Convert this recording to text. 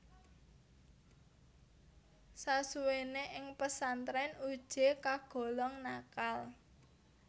Sasuwene ing pesantren Uje kagolong nakal